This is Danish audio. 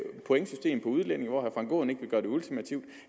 pointsystemet for udlændinge hvor herre frank aaen ikke vil gøre det ultimativt